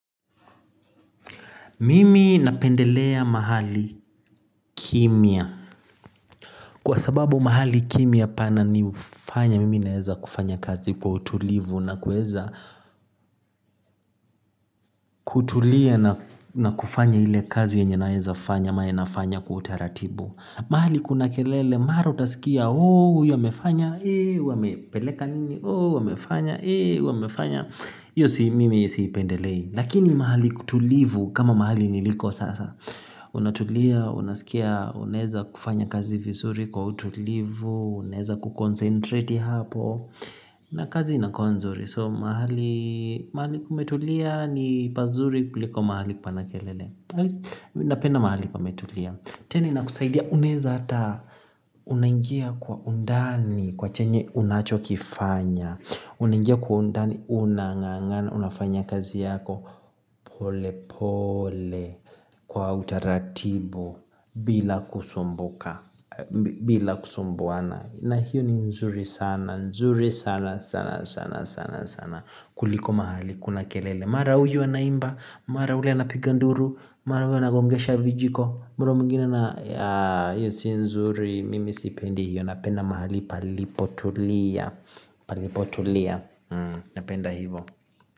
Mimi napendelea mahali kimya. Kwa sababu mahali kimya pananifanya. Mimi naweza kufanya kazi kwa utulivu na kuweza kutulia na kufanya ile kazi yenye naweza fanya ama nafanya kwa utaratibu. Mahali kuna kelele, mahali utasikia, oh, huyu wamefanya, ee, huyu amepeleka nini, oh, yu wamefanya, ee, huyu aamefanya hivyo mimi siipendelei. Lakini mahali kutulivu kama mahali niliko sasa. Unatulia, unasikia, unaweza kufanya kazi vizuri kwa utulivu, unaweza kukoncentrate hapo. Na kazi inakuwa nzuri, so mahali kumerulia ni pazuri kuliko mahali pana kelele. Napenda mahali kumetulia tena inakusaidia unaweza hata unaingia kwa undani katika chenye unachokifanya. Unaingia kwa undani unang'ang'ana unafanya kazi yako. Pole pole, kwa utaratibu, bila kusumbuka bila kusumbuana. Na hiyo ni nzuri sana, nzuri sana sana sana sana, kuliko mahali kuna kelele. Mara huyu anaimba, mara yule anapiga ndulu, mara yule anagongesha vijiko, mara mwingine ana hiyo si nzuri, mimi sipendi hiyo. Napenda mahali palipotulia, palipotulia. Napenda hivyo.